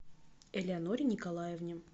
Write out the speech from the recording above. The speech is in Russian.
элеоноре николаевне